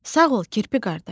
Sağ ol, kirpi qardaş.